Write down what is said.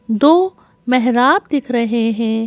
दो मेहराब दिख रहे हैं।